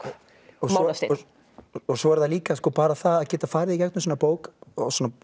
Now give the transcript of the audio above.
og Mánasteinn svo er það líka bara það að geta farið í gegnum svona bók svona